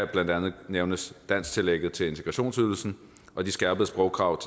blandt andet nævnes dansktillægget til integrationsydelsen og de skærpede sprogkrav